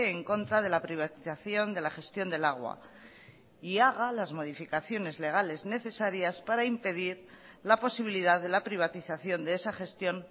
en contra de la privatización de la gestión del agua y haga las modificaciones legales necesarias para impedir la posibilidad de la privatización de esa gestión